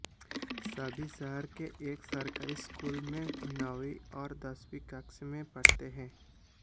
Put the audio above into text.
सभी शहर के एक सरकारी स्कूल में नौवीं और दसवीं कक्षा में पढ़ते हैं